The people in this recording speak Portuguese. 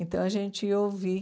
Então, a gente ia ouvir.